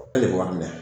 E le b'a minɛ